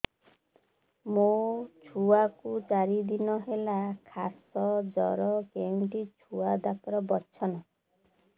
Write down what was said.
ମୋ ଛୁଆ କୁ ଚାରି ଦିନ ହେଲା ଖାସ ଜର କେଉଁଠି ଛୁଆ ଡାକ୍ତର ଵସ୍ଛନ୍